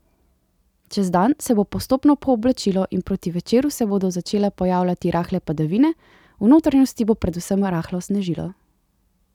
Čez dan se bo postopno pooblačilo in proti večeru se bodo začele pojavljati rahle padavine, v notranjosti bo predvsem rahlo snežilo.